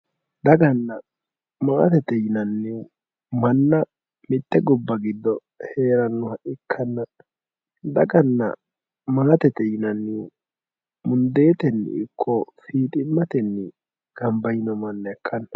daganna maatete yinannihu manna mitte gobba giddo heerannoha ikkanna daganna maatete yinannihu mundeetenni ikko fiiximmatenni gamba yino manna ikkanno.